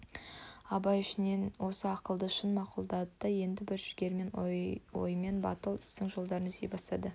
абай ішінен осы ақылды шын мақұлдады да енді бір жігерлі оймен батыл істің жолдарын іздей бастады